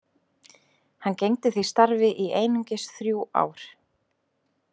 Hann gegndi því starfi í einungis þrjú ár.